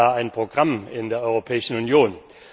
Haben wir da ein Programm in der Europäischen Union?